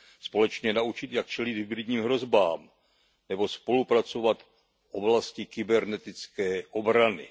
společně naučit, jak čelit hybridním hrozbám nebo spolupracovat v oblasti kybernetické obrany.